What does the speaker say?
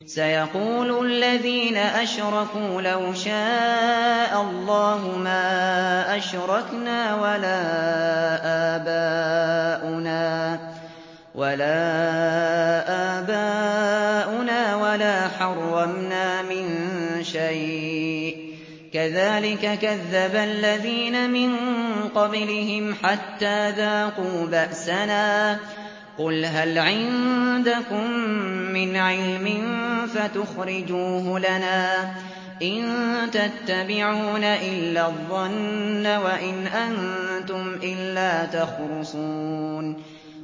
سَيَقُولُ الَّذِينَ أَشْرَكُوا لَوْ شَاءَ اللَّهُ مَا أَشْرَكْنَا وَلَا آبَاؤُنَا وَلَا حَرَّمْنَا مِن شَيْءٍ ۚ كَذَٰلِكَ كَذَّبَ الَّذِينَ مِن قَبْلِهِمْ حَتَّىٰ ذَاقُوا بَأْسَنَا ۗ قُلْ هَلْ عِندَكُم مِّنْ عِلْمٍ فَتُخْرِجُوهُ لَنَا ۖ إِن تَتَّبِعُونَ إِلَّا الظَّنَّ وَإِنْ أَنتُمْ إِلَّا تَخْرُصُونَ